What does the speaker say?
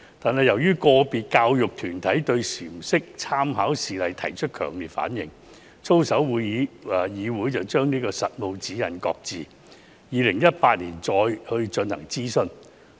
然而，由於個別教育團體對闡釋/參考事例提出強烈反對，操守議會將實務指引擱置，於2018年再次進行諮詢"。